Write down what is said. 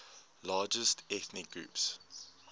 largest ethnic groups